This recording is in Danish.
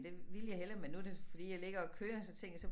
Det ville jeg hellere men nu det fordi jeg ligger og kører så tænker jeg så